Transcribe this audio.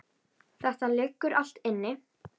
Þetta liggur allt inni